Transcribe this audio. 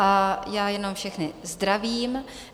A já jenom všechny zdravím.